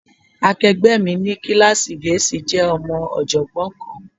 Akẹgbẹ́ mi ní kíláàsì Gẹ̀ẹ́sì jẹ́ ọmọ ọ̀jọ̀gbọ́n kan